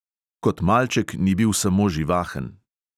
Kot malček ni bil samo živahen.